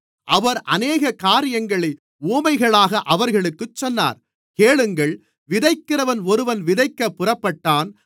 அவர் அநேக காரியங்களை உவமைகளாக அவர்களுக்குச் சொன்னார் கேளுங்கள் விதைக்கிறவன் ஒருவன் விதைக்கப் புறப்பட்டான்